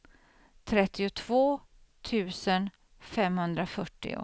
trettiotvå tusen femhundrafyrtio